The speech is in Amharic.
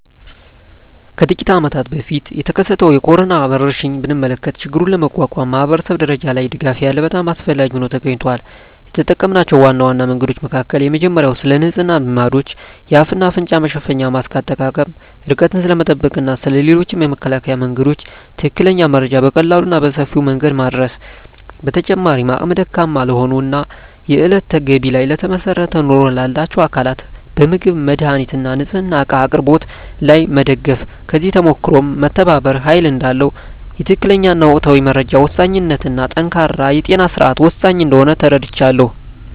ከጥቂት አመታት በፊት የተከሰተውን የኮሮና ወረርሽኝ ብንመለከ ችግሩን ለመቋቋም ማኅበረሰብ ደረጃ ያለ ድጋፍ በጣም አስፈላጊ ሆኖ ተገኝቷል። የተጠምናቸው ዋና ዋና መንገዶች መካከል የመጀመሪያው ስለንጽህና ልማዶች፣ የአፍ እና አፍንጫ መሸፈኛ ማስክ አጠቃቀም፣ ርቀትን ስለመጠበቅ እና ስለ ሌሎችም የመከላከያ መንገዶች ትክክለኛ መረጃ በቀላሉ እና በሰፊው መንገድ ማዳረስ። በተጨማሪም አቅመ ደካማ ለሆኑ እና የእለት ገቢ ላይ ለተመሰረተ ኑሮ ላላቸው አካላት በምግብ፣ መድሃኒት እና ንፅህና እቃ አቅርቦት ላይ መደገፍ። ከዚህ ተሞክሮም መተባበር ኃይል እዳለው፣ የትክክለኛ እና ወቅታዊ መረጃ ወሳኝነት እና ጠንካራ የጤና ስርዓት ወሳኝ እንደሆነ ተረድቻለሁ።